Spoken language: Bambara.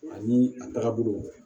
Ani a tagabolo